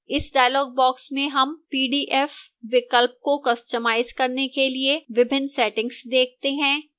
इस dialog box में हम pdf विकल्प को customize करने के लिए विभिन्न settings देखते हैं